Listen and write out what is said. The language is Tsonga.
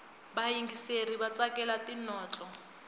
vayingiseri vatsakela tinotlo